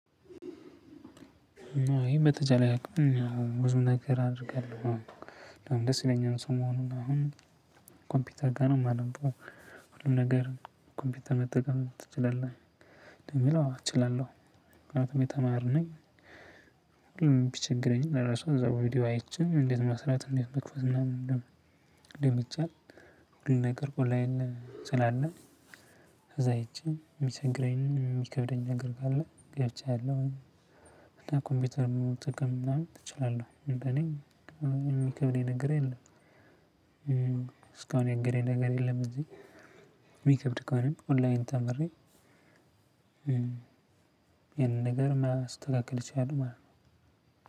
እና እኔ በተቻለኝ አቅም ብዙ ነገር አደርጋለሁ። ደስ ይለኛል ሰሞኑን አሁን ኮምፒውተር ጋር ነው እማነበው። ሁሉም ነገር ኮምፒውተር መጠቀም ትችላለህ? ለሚለው አወ እችላለሁ። ምክንያቱም እኔ ተማሪ ነኝ። ቢቸግረኝም ለራሱ አይቸ ቪዲዮ አይቼን እንዴት መስራት እንዴት መክፈት እና እንደምን ደምቻለሁ ሁሉን ነገር ቆላዬን ስላለ። እዛ ሄጄ የሚቸግረኝ የሚከብደኝ ነገር ካለ ገብቻለሁ። ኮምፒውተር መሆን ጥቅም ምናምን እችላለሁ እንደኔ የሚከብደኝ ነገር የለም። እስካሁን ያገደኝ ነገር የለም እንጂ። የሚከብድ ከሆነ ኦንላይን ተምሬ። ያንን ነገር ማስተካከል እችላለው ማለት ነው።